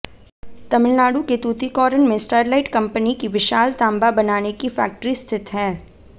तमिलनाडु के तूतीकोरन में Sterlite company की विशाल तांबा बनाने की फैक्टरी स्थित है